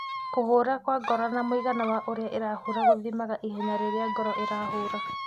Kũhũra kwa ngoro na muigana wa ũrĩa ĩrahũra gũthimaga ihenya rĩrĩa ngoro ĩrahũra.